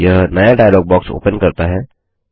यह नया dialog box open करता है